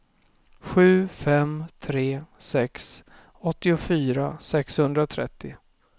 sju fem tre sex åttiofyra sexhundratrettio